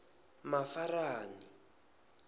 mafarani